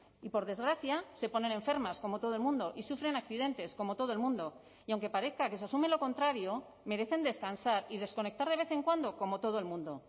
y por desgracia se ponen enfermas como todo el mundo y sufren accidentes como todo el mundo y aunque parezca que se asume lo contrario merecen descansar y desconectar de vez en cuando como todo el mundo